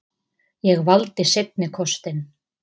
Ég valdi seinni kostinn.